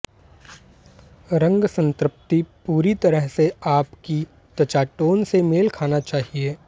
रंग संतृप्ति पूरी तरह से आपकी त्वचा टोन से मेल खाना चाहिए